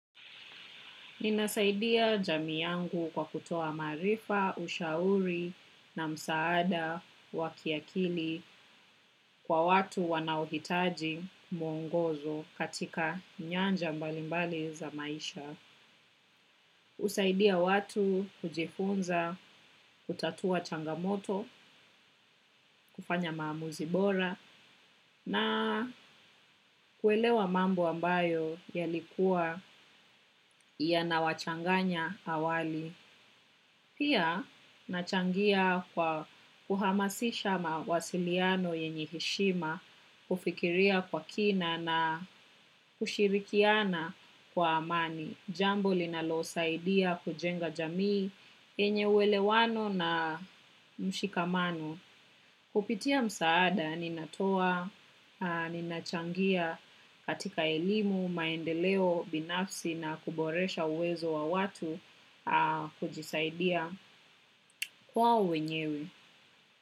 Ninasaidia jamii yangu kwa kutoa maarifa, ushauri na msaada, wa kiakili. Kwa watu wanaohitaji, mwongozo, katika nyanja mbalimbali za maisha. Usaidia watu kujifunza, kutatua changamoto, kufanya maamuzi bora na kuelewa mambo ambayo yalikuwa yana wachanganya awali. Pia, nachangia kwa kuhamasisha mawasiliano yenye heshima, kufikiria kwa kina na kushirikiana kwa amani. Jambo linalosaidia kujenga jamii yenye uwelewano na mshikamano. Hupitia msaada, ninatoa, ninachangia katika elimu, maendeleo, binafsi na kuboresha uwezo wa watu kujisaidia kwao wenyewe.